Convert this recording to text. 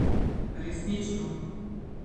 Resnično.